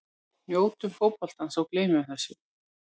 Njótum fótboltans og gleymum þessu.